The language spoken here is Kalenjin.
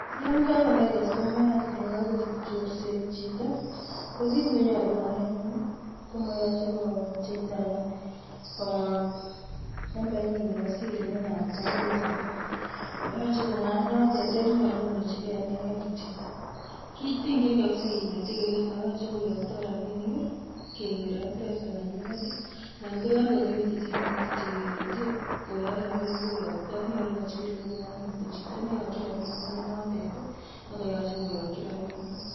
Yon kakonai kastomaayat kole kakochut chorset chito, ko kit nenyolu konai anyun komoche kopcheita komwa nambainyin nebo siri nenaat koo mpesa pin. Moyoche kongaany notet ak nyolu konochi gei ineken kityok. Kitingyiin kabisa kinete kelenyin moyoche koyoktoo rabinik kegere mpesa nenyinet anan ko yon kokibirchi simoit kityok kelenyii koyok rabinik. Koyoktoo, nyolu kochigil angot ko chito neiyokyiin rabinik ko nenotet nekoyoche koyokyii rabinik.